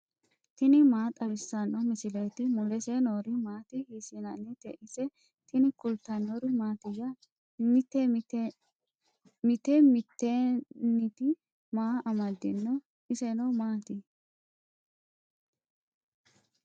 tini maa xawissanno misileeti ? mulese noori maati ? hiissinannite ise ? tini kultannori mattiya? Mitte mittentte maa amadinno? isenno maatti?